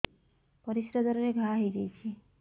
ପରିଶ୍ରା ଦ୍ୱାର ରେ ଘା ହେଇଯାଇଛି